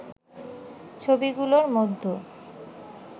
ছবিগুলোর মধ্যে